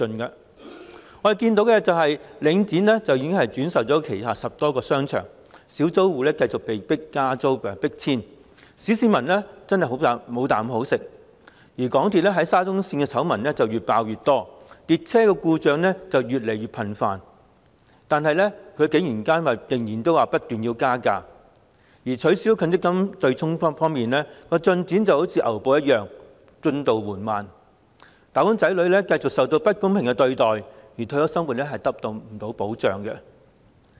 我們看到，領展已經轉售旗下10多個商場，小租戶繼續被加租和迫遷，小市民真的"無啖好食"；港鐵沙田至中環綫的醜聞越爆越多，列車故障越來越頻密，但竟然不斷提出加價；取消強積金對沖的進展則仿如牛步，進度緩慢，"打工仔女"繼續受到不公平對待，退休生活亦得不到保障。